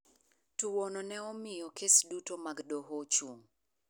Tuwono ne omiyo kes duto mag doho ochung'.